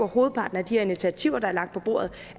hovedparten af de her initiativer der er lagt på bordet